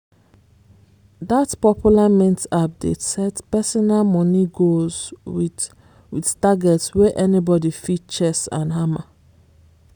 that popular mint app dey set personal money goals with with targets wey anybody fit chase and hammer.